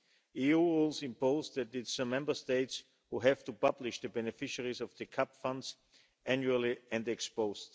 EU rules impose that it's the Member States who have to publish the beneficiaries of the CAP funds annually and ex-post.